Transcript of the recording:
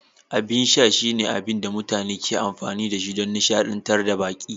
Abin sha shine abin da mutane ke amfani don nishadantar da baƙi.